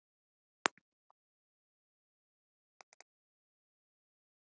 Jákvæður skilningur á kynlífinu einkennir einnig framsetningu